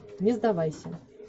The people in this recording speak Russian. не сдавайся